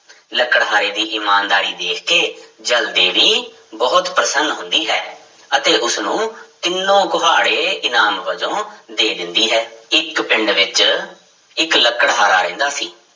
ਲੱਕੜਹਾਰੇ ਦੀ ਇਮਾਨਦਾਰੀ ਦੇਖ ਕੇ ਜਲ ਦੇਵੀ ਬਹੁਤ ਪ੍ਰਸੰਨ ਹੁੰਦੀ ਹੈ ਅਤੇ ਉਸਨੂੰ ਤਿੰਨੋ ਕੁਹਾੜੇ ਇਨਾਮ ਵਜੋਂ ਦੇ ਦਿੰਦੀ ਹੈ, ਇੱਕ ਪਿੰਡ ਵਿੱਚ ਇੱਕ ਲਕੜਹਾਰਾ ਰਹਿੰਦਾ ਸੀ।